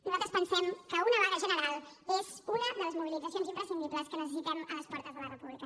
nosaltres pensem que una vaga general és una de les mobilitzacions imprescindibles que necessitem a les portes de la república